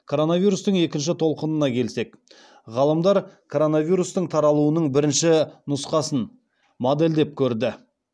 коронавирустың екінші толқынына келсек ғалымдар коронавирустың таралуының бірінші нұсқасын модельдеп көрді